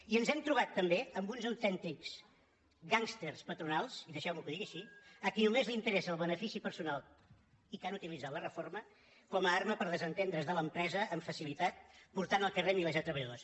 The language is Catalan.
i ens hem trobat també amb uns autèntics gàngsters pa·tronals i deixeu·me que ho digui així a qui només els interessa el benefici personal i que han utilitzat la reforma com a arma per desentendre’s de l’empresa amb facilitat portant al carrer milers de treballadors